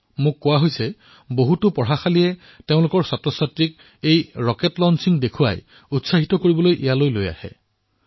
মোক কোৱা হৈছে যে বহুতো বিদ্যালয়ে নিজৰ বিদ্যাৰ্থীসকলক ৰকেট উৎক্ষেপণ দেখুৱাবলৈ আৰু তেওঁলোকক উৎসাহিত কৰিবলৈ তালৈ ভ্ৰমণো কৰিছে